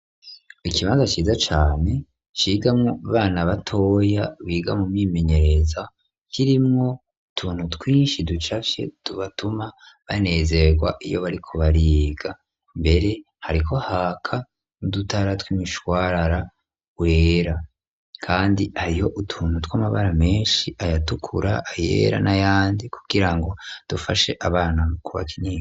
Ikimaza aciza cane cigamwo bana batoya biga mu mimenyereza kirimwo utuntu twinshi ducafye tubatuma banezerwa iyo bariko bariga mbere hariko haka ni dutara twimishwarara wera, kandi ariho utuntu tw'amabara menshi ayatukura ,ayera na yandi kukira ngo dufashe abana ku ba kinyinga.